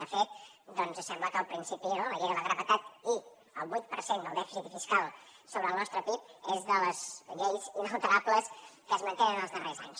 de fet sembla que la llei de la gravetat i el vuit per cent del dèficit fiscal sobre el nostre pib és de les lleis inalterables que es mantenen els darrers anys